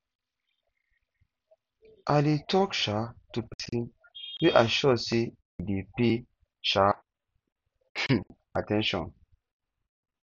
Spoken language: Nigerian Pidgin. i dey tok um to pesin wey i sure sey e dey pay um um at ten tion